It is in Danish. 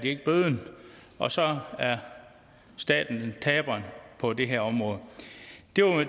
ikke bøden og så er staten taberen på det her område